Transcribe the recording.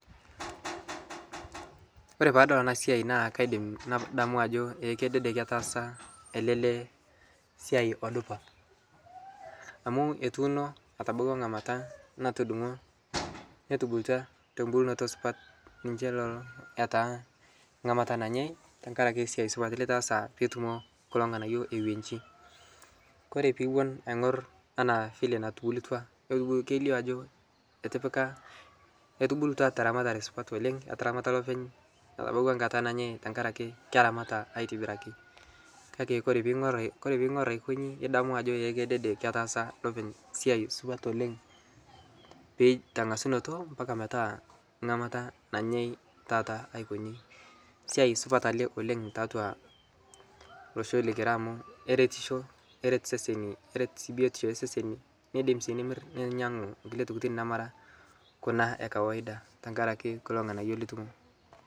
kore paadol anaa siai naa kaidim nadamu ajo ee kedede ketaasa ale lee siai odupa amu etuuno etabawua nghamata natudungo netubulutwa tombulnoto supat ninshe lolo etaa ngamata nanyai tankarake siai supat litaasa pitumo kulo nghanayo ewenshi kore piiwon aingor anaa vile natubulutua keilio ajo etipika etubulutua teramatare supat oleng etaramata lopeny etabauwa nkata nanyai tankarake keramata aitibiraki kake kore piingor aikonji idamu ajo ee kedede ketaasa lopeny siai supat oleng tengasunoto mpaka metaa nghamata nanyai taata aikonyi siai supat ale oleng taatua losho likira amu keretisho keret seseni keret sii biotisho ee seseni neidim sii nimir ninyangu nkulie tokitin namara kuna ee kawaida tankarake kuloo nghanayo litumo